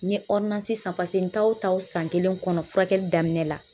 N ye san pase n taa o taa o san kelen kɔnɔ furakɛli daminɛ la